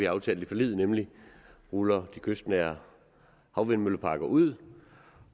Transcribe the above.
aftalt i forliget nemlig ruller de kystnære havvindmølleparker ud